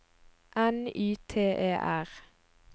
N Y T E R